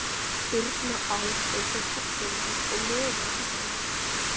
Birna át einsog herforingi og lofar að halda því áfram.